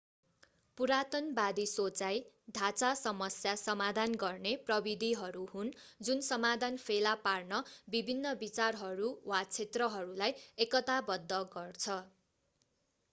पुरातनबादी सोचाइ ढाँचा समस्या समाधान गर्ने प्रविधिहरू हुन् जुन समाधान फेला पार्न विभिन्न विचारहरू वा क्षेत्रहरूलाई एकताबद्ध गर्छ